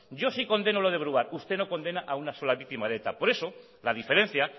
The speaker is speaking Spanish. yo sí condeno lo de brouard usted no condena a una sola víctima de eta por eso la diferencia